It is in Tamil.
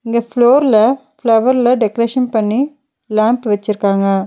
இங்க ஃப்ளோர்ல ஃப்ளவர்ல டெக்ரேஷன் பண்ணி லேம்ப் வெச்சிருக்காங்க.